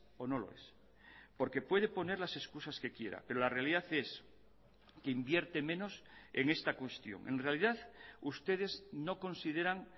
o no lo es porque puede poner las excusas que quiera pero la realidad es que invierte menos en esta cuestión en realidad ustedes no consideran